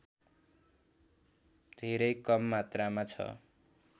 धेरै कममात्रामा छ